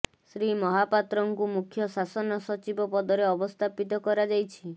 ଶ୍ରୀ ମହାପାତ୍ରଙ୍କୁ ମୁଖ୍ୟ ଶାସନ ସଚିବ ପଦରେ ଅବସ୍ଥାପିତ କରାଯାଇଛି